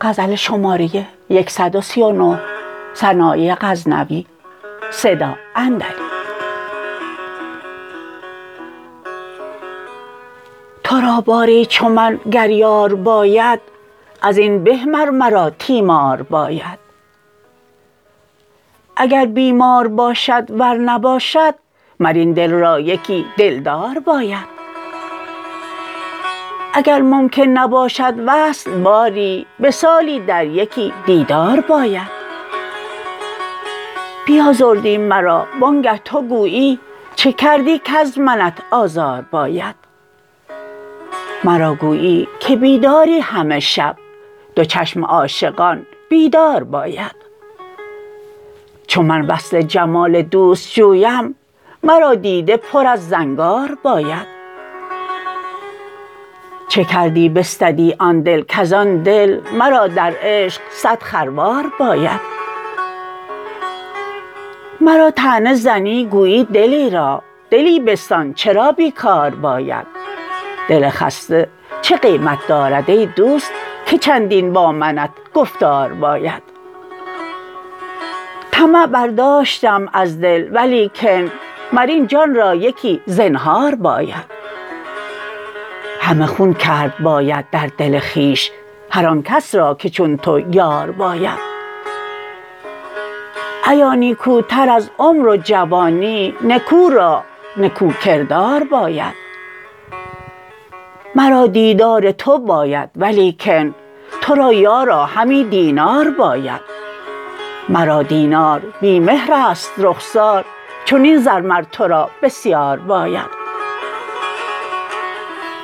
ترا باری چو من گر یار باید ازین به مر مرا تیمار باید اگر بیمار باشد ور نباشد مر این دل را یکی دلدار باید اگر ممکن نباشد وصل باری بسالی در یکی دیدار باید بیازردی مرا وانگه تو گویی چه کردی کز منت آزار باید مرا گویی که بیداری همه شب دو چشم عاشقان بیدار باید چو من وصل جمال دوست جویم مرا دیده پر از زنگار باید چه کردی بستدی آن دل کز آن دل مرا در عشق صد خروار باید مرا طعنه زنی گویی دلیرا دلی بستان چرا بیکار باید دل خسته چه قیمت دارد ای دوست که چندین با منت گفتار باید طمع برداشتم از دل ولیکن مر این جان را یکی زنهار باید همه خون کرد باید در دل خویش هر آنکس را که چون تو یار باید ایا نیکوتر از عمر و جوانی نکو رو را نکو کردار باید مرا دیدار تو باید ولیکن ترا یارا همی دینار باید مرا دینار بی مهرست رخسار چنین زر مر ترا بسیار باید